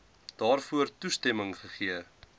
daarvoor toestemming gegee